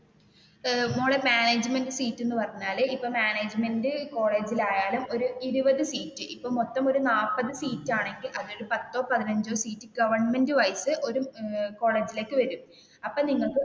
ഏർ മോളെ management seat എന്ന് പറഞ്ഞാൽ ഇപ്പൊ മാനേജ്‌മന്റ് കോളേജിൽ ആയാലും ഒരു ഇരുപതു സീറ്റ് ഇപ്പൊ ഒരു മൊത്തം നാല്പതു സീറ്റ് ആണെങ്കിൽ, അത് ഒരു പത്തോ പതിനഞ്ചോ സീറ്റ് ഗവെർന്മെന്റുമായിട്ട് ഒരു കോളജിലേക്ക് വരും അപ്പൊ നിങ്ങൾക്ക്